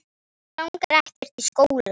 Mig langar ekkert í skóla.